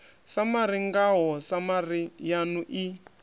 samari ngao samari yanu i